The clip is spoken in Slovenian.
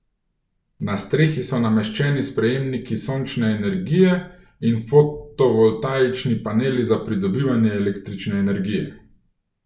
Na strehi so nameščeni sprejemniki sončne energije in fotovoltaični paneli za pridobivanje električne energije.